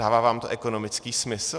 Dává vám to ekonomický smysl?